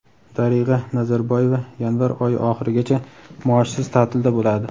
Darig‘a Nazarboyeva yanvar oyi oxirigacha maoshsiz ta’tilda bo‘ladi.